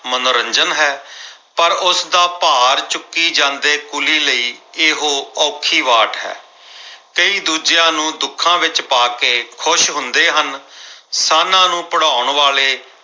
ਮਨੋਰੰਜਨ ਹੈ ਪਰ ਉਸਦਾ ਭਾਰ ਚੁੱਕੀ ਜਾਂਦੇ ਕੁਲੀ ਲਈ ਇਹੋ ਔਖੀ ਵਾਟ ਹੈ। ਕਈ ਦੂਜਿਆਂ ਨੂੰ ਦੁੱਖਾਂ ਵਿੱਚ ਪਾ ਕੇ ਖੁਸ਼ ਹੁੰਦੇ ਹਨ। ਸਾਨ੍ਹਾਂ ਨੂੰ ਭਿੜਾਉਣ ਵਾਲੇ